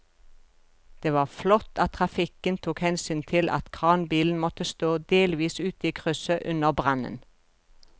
Det var flott at trafikken tok hensyn til at kranbilen måtte stå delvis ute i krysset under brannen.